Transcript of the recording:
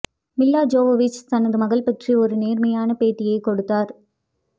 மில்லா Jovovich தனது மகள் பற்றி ஒரு நேர்மையான பேட்டியை கொடுத்தார்